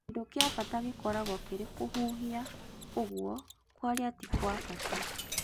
Kĩndũ kĩa bata gĩkoragwo kĩrĩ kũhuhia ũguo kwaria ti-kwabata